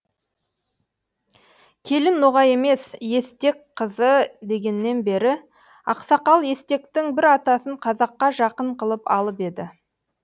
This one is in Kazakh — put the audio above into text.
келін ноғай емес естек қызы дегеннен бері ақсақал естектің бір атасын қазаққа жақын қылып алып еді